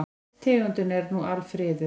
Tegundin er nú alfriðuð.